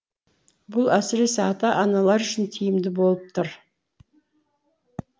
бұл әсіресе ата аналар үшін тиімді болып тұр